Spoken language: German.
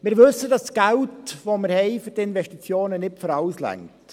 Wir wissen, dass das Geld, das wir für Investitionen haben, nicht für alles reicht.